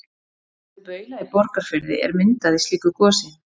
Fjallið Baula í Borgarfirði er myndað í slíku gosi.